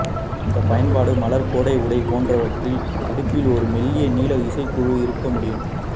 இந்த பயன்பாடு மலர் கோடை உடை போன்றவற்றில் இடுப்பில் ஒரு மெல்லிய நீல இசைக்குழு இருக்க முடியும்